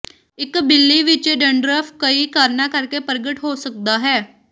ਇੱਕ ਬਿੱਲੀ ਵਿੱਚ ਡੰਡ੍ਰਫਫ ਕਈ ਕਾਰਨਾਂ ਕਰਕੇ ਪ੍ਰਗਟ ਹੋ ਸਕਦਾ ਹੈ